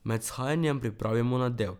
Med vzhajanjem pripravimo nadev.